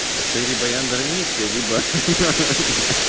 отели баяндар миссия либо